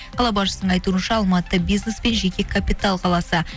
қала басшысының айтуынша алматы бизнес пен жеке капитал қаласы